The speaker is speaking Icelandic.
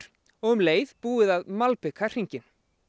og um leið búið að malbika hringinn